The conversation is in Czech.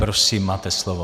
Prosím, máte slovo.